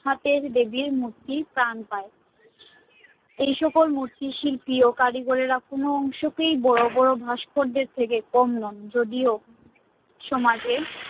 দেবী র মূর্তি স্তান পাএ এই সাবু মূর্তি শিল্পী কারিগর দেখুন বাদ বাদ ভাস্কর্য থেকে যদিও সমাজে